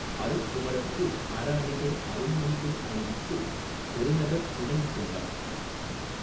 அருட்குமரர்க்கு அறஅணிகள் அருள்மணிகள் அணிவித்து பெருநகர்கு னைன்செல்லப்